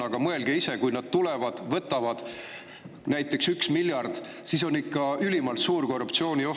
Aga mõelge ise, kui nad tulevad ja võtavad näiteks 1 miljardi, siis on ikka ülimalt suur korruptsioonioht …